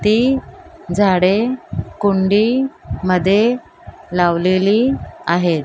ती झाडे कुंडी मध्ये लावलेली आहेत.